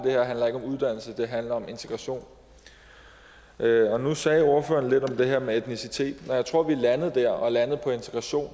det handler om integration nu sagde ordføreren lidt om det her med etnicitet når jeg tror vi er landet der og landet på integration